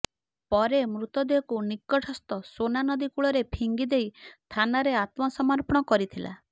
ପରେ ମୃତଦେହକୁ ନିକଟସ୍ଥ ସୋନ ନଦୀ କୂଳରେ ଫିଙ୍ଗି ଦେଇ ଥାନାରେ ଆତ୍ମସମର୍ପଣ କରିଥିଲା